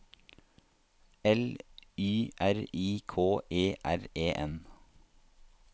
L Y R I K E R E N